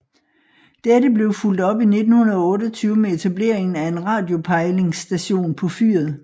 Dette blev fulgt op i 1928 med etableringen af en radiopejlingsstation på fyret